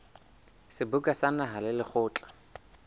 seboka sa naha le lekgotla